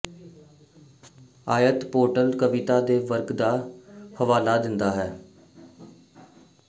ਆਇਤ ਪੇਸਟੋਰਲ ਕਵਿਤਾ ਦੇ ਵਰਗ ਦਾ ਹਵਾਲਾ ਦਿੰਦਾ ਹੈ